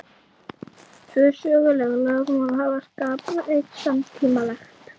Tvö söguleg lögmál hafa skapað eitt samtímalegt.